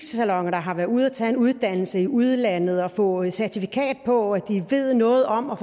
der har været ude at tage en uddannelse i udlandet og fået certifikat på at de ved noget om at